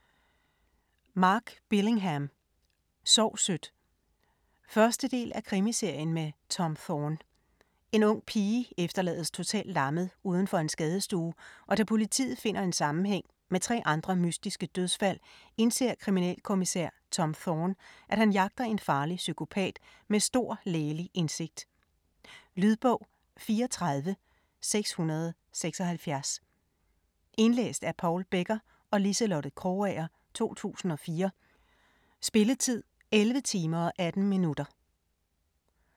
Billingham, Mark: Sov sødt 1. del af Krimiserien med Tom Thorne. En ung pige efterlades totalt lammet uden for en skadestue og da politiet finder en sammenhæng med tre andre mystiske dødsfald, indser kriminalkommissær Tom Thorne at han jager en farlig psykopat med stor lægelig indsigt. Lydbog 34676 Indlæst af Paul Becker og Liselotte Krogager, 2004. Spilletid: 11 timer, 18 minutter.